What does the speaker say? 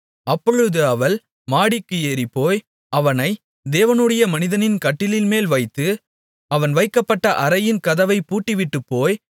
அப்பொழுது அவள் மாடிக்கு ஏறிப்போய் அவனை தேவனுடைய மனிதனின் கட்டிலின்மேல் வைத்து அவன் வைக்கப்பட்ட அறையின் கதவைப் பூட்டிவிட்டு போய்